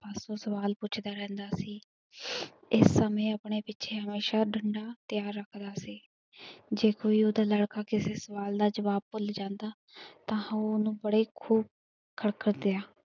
ਸਵਾਲ ਪੁੱਛਦਾ ਰਹਿੰਦਾ ਸੀ, ਏਸ ਸਮੇ ਆਪਣੇ ਪਿੱਛੇ ਹਮੇਸ਼ਾ ਡੰਡਾ ਤਿਆਰ ਰੱਖਦਾ ਸੀ ਜੇ ਕੋਈ ਉਹਦਾ ਲੜਕਾ ਕਿਸੇ ਸਵਾਲ ਦਾ ਜਵਾਬ ਭੁੱਲ ਜਾਂਦਾ ਤਾਂ ਉਹ ਉਹਨੂੰ ਬੜੇ ਖੂਬ ਖੜਖਤ ਰਿਹਾ।